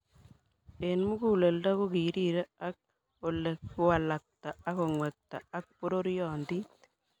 Eng muguleldo kokirire ang Ole kiwalakta ako ngwekta ak pororiondit